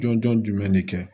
Jɔn jɔn jumɛn de kɛ